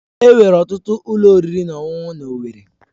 Enwere ọtụtụ ụlọ oriri na ọṅụṅụ na owerri.